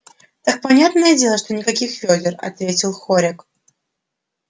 так понятное дело что никаких вёдер ответил хорёк